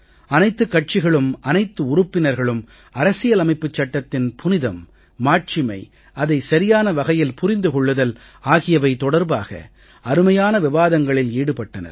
அனைத்துக் கட்சிகளும் அனைத்து உறுப்பினர்களும் அரசியல் அமைப்புச் சட்டத்தின் புனிதம் மாட்சிமை அதை சரியான வகையில் புரிந்து கொள்ளுதல் ஆகியவை தொடர்பாக அருமையான விவாதங்களில் ஈடுபட்டனர்